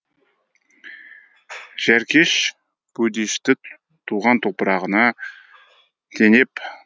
жәркеш бөдешті туған топырағына теңеп